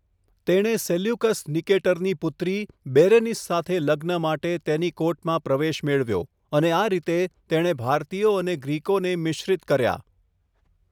તેણે સેલ્યુકસ નિકેટરની પુત્રી, બેરેનિસ સાથે લગ્ન માટે તેની કોર્ટમાં પ્રવેશ મેળવ્યો અને આ રીતે, તેણે ભારતીયો અને ગ્રીકોને મિશ્રિત કર્યા.